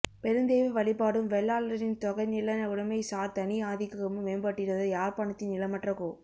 பெருந்தெய்வ வழிபாடும் வெள்ளாளரின் தொகை நில உடமை சார் தனி ஆதிக்கமும் மேம்பட்டிருந்த யாழ்பாணத்தின் நிலமற்ற கோ